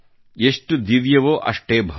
ಎಷ್ಟು ದಿವ್ಯವೋ ಅಷ್ಟೇ ಭವ್ಯ